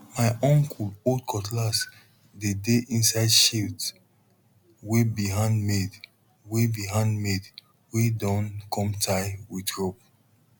my uncle old cutlass dey dey inside sheath wey be handmade wey be handmade wey don come tie with rope